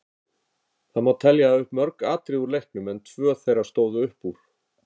Það má telja upp mörg atriði úr leiknum en tvö þeirra stóðu upp úr.